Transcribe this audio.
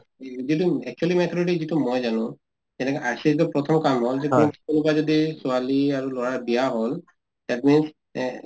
যিটো actually মই জানো , যেনেকৈ RCH ৰ প্ৰথম কাম হল যে কোনোবা যদি ছোৱালী আৰু লৰা বিয়া হল that means এ